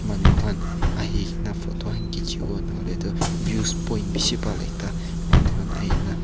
manu khan ahi kena photo khan khichi bole na hoile tu views point bishi bhal ekta manu khan ahi ke na--